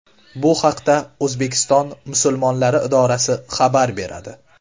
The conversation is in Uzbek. Bu haqda O‘zbekiston musulmonlari idorasi xabar beradi .